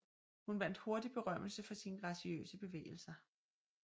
Hun vandt hurtigt berømmelse for sine graciøse bevægelser